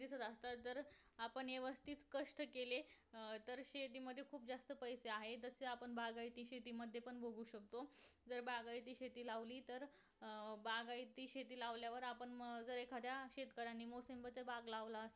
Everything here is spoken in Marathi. आपण व्यवस्थित कष्ट केले अं तर शेतीमध्ये खूप जास्त पैसे आहेत तसे आपण बागायती शेती मध्ये पण बघू शकतो तर बागायती शेती लावली तर अं बागायती शेती लावल्यावर आपण जर एखाद्या शेतकऱ्यांनी मोसंबी च्या बाग लावल्या